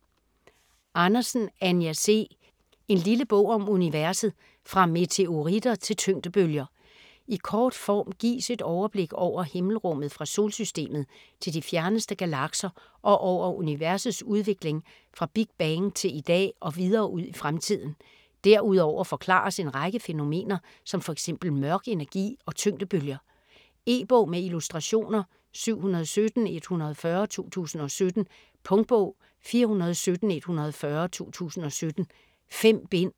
Andersen, Anja C.: En lille bog om universet: fra meteoritter til tyngdebølger I kort form gives et overblik over himmelrummet fra Solsystemet til de fjerneste galakser og over universets udvikling fra Big Bang til i dag og videre ud i fremtiden. Derudover forklares en række fænomener som f.eks. mørk energi og tyngdebølger. E-bog med illustrationer 717140 2017. Punktbog 417140 2017. 5 bind.